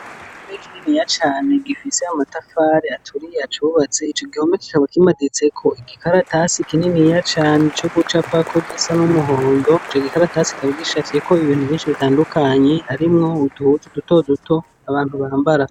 Igihome kininiya cane gifise amatafari acubatse, ico igihome kikaba kimaditseko igikaratasi kininiya cane co gucapako gisa n' umuhondo, ico gikaratasi kikaba gicafyeko ibintu vyinshi bitandukanye harimwo uduhuzu duto duto abantu bambara.